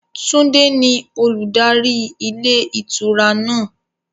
Tunde ni olùdarí ilé ìtura náà.